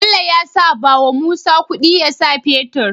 Bello yasa bawa musa kudi yasa fetir